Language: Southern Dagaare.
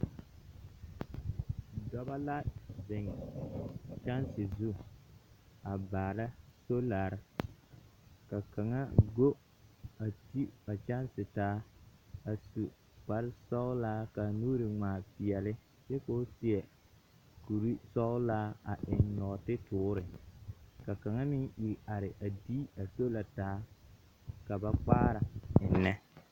Dɔbɔ la zeŋ kyɛnse zu a baara soolare. Ka kaŋa go a ti a kyɛnse taa, a su kpare sɔglaa kaa nuuri ŋmaa peɛle, kyɛ koo seɛ kuri sɔglaa a eŋ nɔɔte toore, ka kaŋa meŋ iri are a dii a soola taa ka ba kpaara ennɛ.